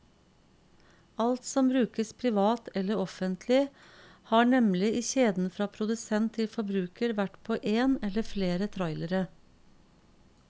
Alt som brukes privat eller offentlig, har nemlig i kjeden fra produsent til forbruker vært på én eller flere trailere.